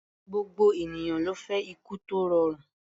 Gbogbo ènìyàn ló fẹ́ ikú tó rọrùn.